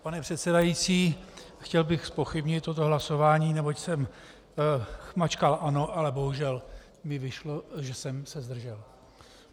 Pane předsedající, chtěl bych zpochybnit toto hlasování, neboť jsem mačkal "ano", ale bohužel mi vyšlo, že jsem se zdržel.